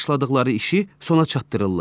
Başladıqları işi sona çatdırırlar.